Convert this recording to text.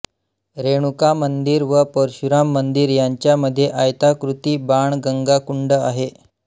रेणुकामंदिर व परशुराम मंदिर यांच्या मध्ये आयताकृती बाणगंगा कुंड आहे